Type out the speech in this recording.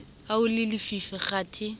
ha ho le lefifi kgathe